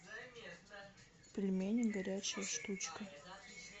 пельмени горячая штучка